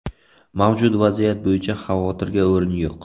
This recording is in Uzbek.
Mavjud vaziyat bo‘yicha xavotirga o‘rin yo‘q.